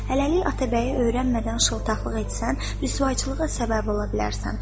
Hələlik Atabəyi öyrənmədən şıltaqlıq etsən, rüsvayçılığa səbəb ola bilərsən.